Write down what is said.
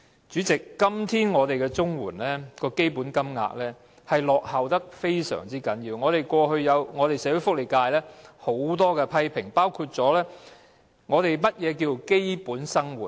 主席，今天綜緩的基本金額嚴重落後，社會福利界過去對此亦有很多批評，並提出何謂基本生活？